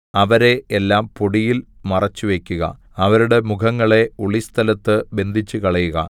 അവരെ എല്ലാം പൊടിയിൽ മറച്ചുവയ്ക്കുക അവരുടെ മുഖങ്ങളെ ഒളിസ്ഥലത്ത് ബന്ധിച്ചുകളയുക